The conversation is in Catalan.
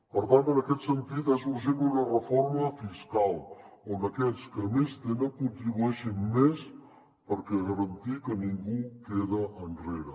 per tant en aquest sentit és urgent una reforma fiscal on aquells que més tenen contribueixin més per garantir que ningú queda enrere